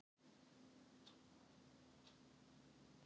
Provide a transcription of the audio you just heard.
Hjá þeim Lenu.